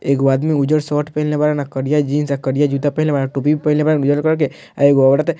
एगो आदमी उजर शर्ट पहिनले बाड़न आ करिया जीन्स आ करीया जूता पहिनले बाड़न टोपी भी पहिनले बाड़न उजर कलर के आ एगो औरत --